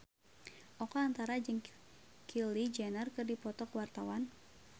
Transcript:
Oka Antara jeung Kylie Jenner keur dipoto ku wartawan